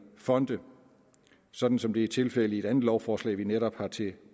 fonde sådan som det er tilfældet i et andet lovforslag vi netop har til